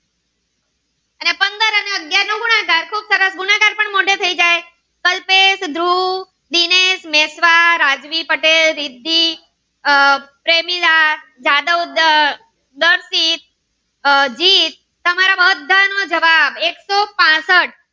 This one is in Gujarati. ધ્રુવ દિનેશ મેશ્વા રાજવી પટેલ રિદ્ધિ આહ પ્રેમીરા જાદવ ઉડાવ દર્શિત આહ જીત તમારા બધા નો જવાબ એક સો પાંસઠ